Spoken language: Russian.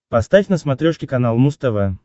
поставь на смотрешке канал муз тв